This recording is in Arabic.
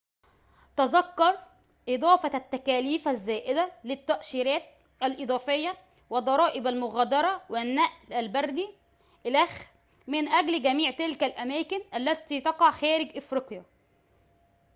تذكّر إضافة التّكاليف الزّائدة للتّأشيرات الإضافيّة وضرائب المغادرة والنّقل البريّ إلخ من أجل جميع تلك الأماكن التي تقع خارجَ إفريقيا